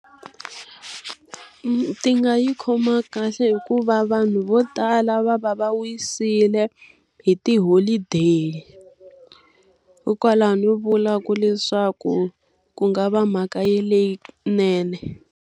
Ti nga yi khoma kahle hikuva vanhu vo tala va va va wisile hi tiholideyi. Hikwalaho ni vulaku leswaku ku nga va mhaka leyinene.